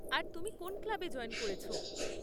আর তুমি কোন ক্লাবে জয়েন করেছ?